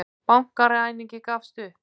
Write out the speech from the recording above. Bankaræningi gafst upp